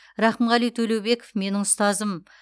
рақымғали төлеубеков менің ұстазым